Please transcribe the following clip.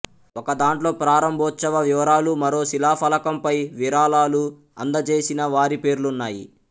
ఒక దాంట్లొ ప్రారంభోత్సవ వివరాలు మరో శిలాఫలకం పై విరళాలు అందజేసిన వారి పేర్లున్నాయి